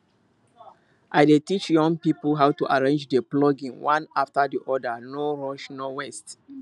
i dey teach young people how to arrange the plucking one after the other no rushno waste